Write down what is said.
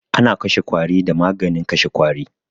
Ana kashe ƙwari da maganin kashe ƙwari